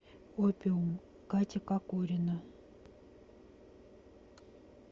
опиум катя кокорина